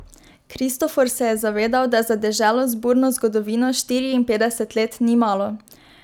Kristofor se je zavedal, da za deželo z burno zgodovino štiriinpetdeset let ni malo.